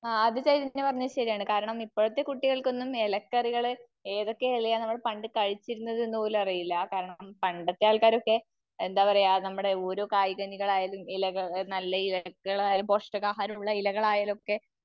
ആ അത് ചൈതന്യ പറഞ്ഞത് ശരിയാണ്. കാരണം, ഇപ്പോഴത്തെ കുട്ടികൾക്കൊന്നും ഇലക്കറികള്, ഏതൊക്കെ ഇലയാ നമ്മള് പണ്ട് കഴിച്ചിരുന്നത് എന്ന് പോലും അറിയില്ല. ആ കാരണം, പണ്ടത്തെ ആൾക്കാരൊക്കെ, എന്താ പറയാ, നമ്മുടെ ഓരോ കായ് കനികളായാലും നല്ല ഇലകളായലും പോഷക ആഹാരം ഉള്ള ഇലകളയാലും ഒക്കെ